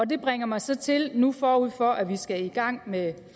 det bringer mig så til nu forud for at vi skal i gang med